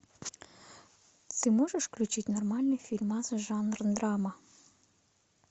ты можешь включить нормальный фильмас жанр драма